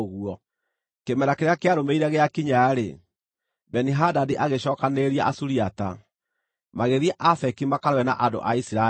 Kĩmera kĩrĩa kĩarũmĩrĩire gĩakinya-rĩ, Beni-Hadadi agĩcookanĩrĩria Asuriata, magĩthiĩ Afeki makarũe na andũ a Isiraeli.